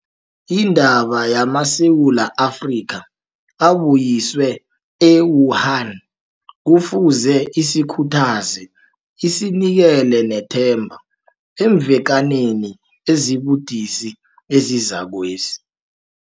Indaba yamaSewula Afrika abuyiswe e-Wuhan kufuze isikhuthaze isinikele nethemba eemvekaneni ezibudisi ezizakwezi.